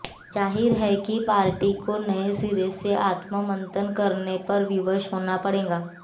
जाहिर है कि पार्टी को नए सिरे से आत्ममंथन करने पर विवश होना पड़ेगा